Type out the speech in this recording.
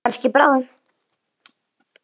Kannski bráðum.